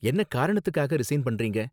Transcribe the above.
என்ன காரணத்துக்காக ரிசைன் பண்றீங்க?